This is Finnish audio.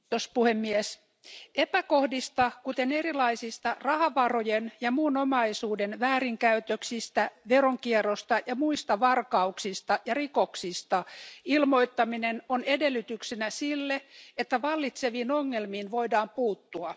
Arvoisa puhemies, epäkohdista, kuten erilaisista rahavarojen ja muun omaisuuden väärinkäytöksistä, veronkierrosta ja muista varkauksista ja rikoksista ilmoittaminen on edellytyksenä sille, että vallitseviin ongelmiin voidaan puuttua.